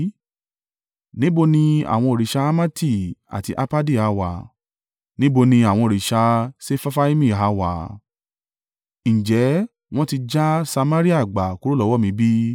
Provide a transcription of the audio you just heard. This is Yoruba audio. Níbo ni àwọn òrìṣà Hamati àti Arpadi ha wà? Níbo ni àwọn òrìṣà Sefarfaimi ha wà? Ǹjẹ́ wọn ti já Samaria gbà kúrò lọ́wọ́ mi bí?